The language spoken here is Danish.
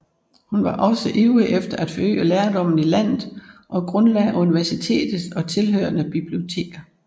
Hun var også ivrig efter at forøge lærdommen i landet og grundlagde universitet og tilhørende biblioteker